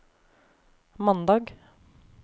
mandag